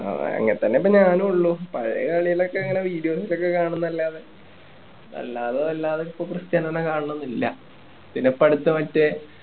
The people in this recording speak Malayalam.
അങ്ങനേതന്നെ ഇപ്പൊ ഞാനും ഉള്ളൂ പഴയ കളികൾ ഒക്കെ ഇങ്ങനെ videos ൽ ഒക്കെ കാണുന്നതല്ലാതെ അല്ലാതെ വല്ലാതെ ഇപ്പൊ ക്രിസ്റ്റിയാനോനെ കാണണം എന്നില്ല പിന്നെ പഠിത്തം ഒക്കെ